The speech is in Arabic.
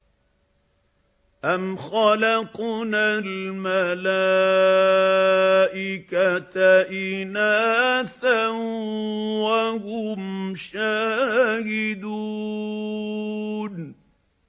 أَمْ خَلَقْنَا الْمَلَائِكَةَ إِنَاثًا وَهُمْ شَاهِدُونَ